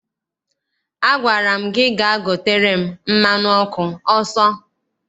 Agwara m gị gaa gotere m mmanụ ọkụ ọsọ!